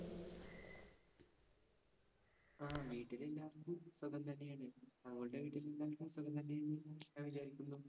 ആഹ് വീട്ടില്‍ എല്ലാവര്‍ക്കും സുഖം തന്നെയാണ്. താങ്കളുടെ വീട്ടില്‍ എല്ലാവര്‍ക്കും സുഖം തന്നെയാണ് ഞാൻ വിചാരിക്കുന്നു.